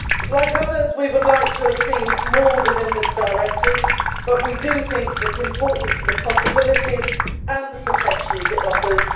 Like others, we would like to have seen more within this Directive, but we think it is important for the possibilities and the protection it offers.